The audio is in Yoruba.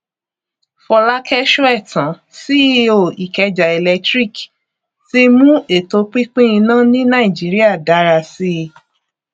fọlákẹ sóẹtàn ceo ikeja electric ti mú ètò pínpín iná ní nàìjíríà dára sí